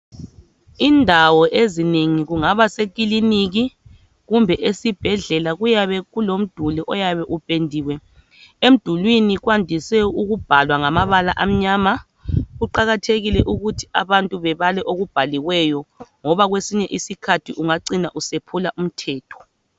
Indawo ezinengi kungaba sekiliniki kumbe esibhedlela kuyabe kulomduli oyabe upendiwe, emdulwini kwandise ukubhalwa ngamabala amnyama. Kuqakathekile ukuthi abantu bebale okubhaliweyo ngoba kwesinye isikhathi ungacina usephula umthetho.